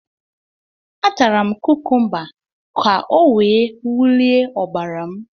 A tara m kukumba ka o wee wulie ọbara m